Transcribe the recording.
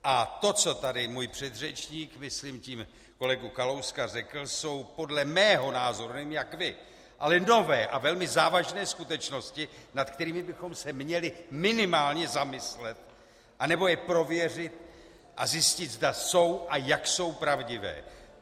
A to, co tady můj předřečník, myslím tím kolegu Kalouska, řekl, jsou podle mého názoru - nevím jak vy - ale nové a velmi závažné skutečnosti, nad kterými bychom se měli minimálně zamyslet anebo je prověřit a zjistit, zda jsou a jak jsou pravdivé.